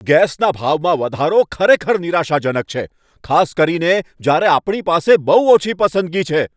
ગેસના ભાવમાં વધારો ખરેખર નિરાશાજનક છે, ખાસ કરીને જ્યારે આપણી પાસે બહુ ઓછી પસંદગી છે.